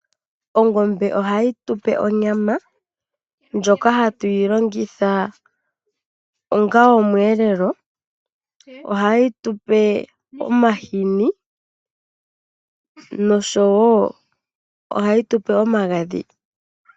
Ongombe ohayi tupe onyama, ndjoka hatu yilongitha ongaa omweelelo. Ohayi tupe omahini nosho woo ohayi tupe omagadhi.